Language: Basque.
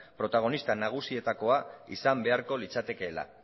protagonista nagusienetakoa izan beharko litzatekeela